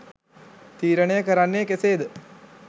තීරණය කරන්නේ කෙසේද?